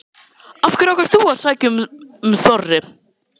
Hödd: Af hverju ákvaðst þú að sækja um Þorri?